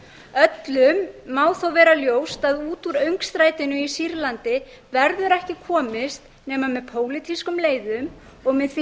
parísarbúa öllum má þó vera ljóst að út úr öngstrætinu í sýrlandi verður ekki komist nema með pólitískum leiðum og með því að